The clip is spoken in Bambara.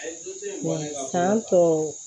san tɔ